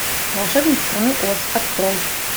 волшебник страны оз открой